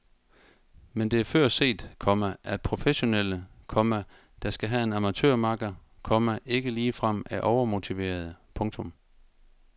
Men det er før set, komma at professionelle, komma der skal have en amatørmakker, komma ikke ligefrem er overmotiverede. punktum